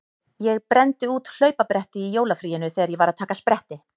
Ég brenndi út hlaupabretti í jólafríinu þegar ég var að taka spretti.